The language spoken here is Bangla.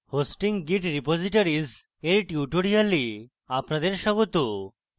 hosting git repositories এর tutorial আপনাদের স্বাগত